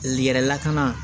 Yɛrɛ lakana